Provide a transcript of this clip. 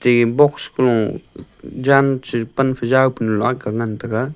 te box kolo jan che pan phejaw panu akga ngan taiga.